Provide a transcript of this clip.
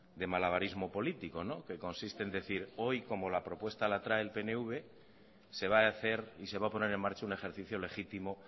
de malabarismo político que consiste en decir hoy como la propuesta la trae el pnv se va a hacer y se va a poner en marcha un ejercicio legítimo